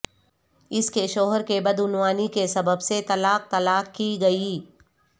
اس کے شوہر کے بدعنوانی کے سبب سے طلاق طلاق کی گئی